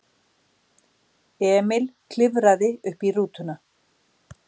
Emil klifraði uppí rútuna.